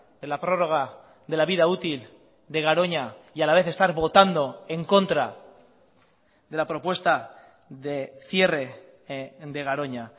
de la prorroga de la vida útil de garoña y a la vez estar votando en contra de la propuesta de cierre de garoña